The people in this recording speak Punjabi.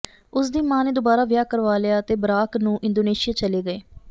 ਉਸ ਦੀ ਮਾਂ ਨੇ ਦੁਬਾਰਾ ਵਿਆਹ ਕਰਵਾ ਲਿਆ ਅਤੇ ਬਰਾਕ ਨੂੰ ਇੰਡੋਨੇਸ਼ੀਆ ਚਲੇ ਗਏ